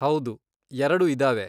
ಹೌದು, ಎರಡು ಇದಾವೆ.